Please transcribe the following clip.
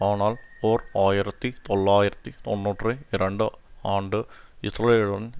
ஆனால் ஓர் ஆயிரத்தி தொள்ளாயிரத்தி தொன்னூற்றி இரண்டு ஆண்டு இஸ்ரேலுடன்